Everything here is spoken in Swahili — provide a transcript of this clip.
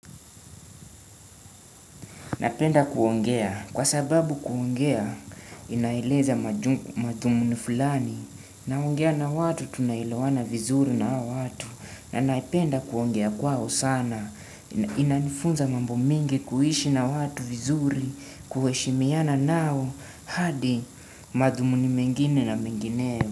Napenda kuongea kwa sababu kuongea inaeleza madhumuni fulani, naongea na watu tunaelawana vizuri na hao watu na napenda kuongea kwao sana, inanifunza mambo mingi kuishi na watu vizuri, kuheshimiana nao hadi madhumuni mengine na mengineyo.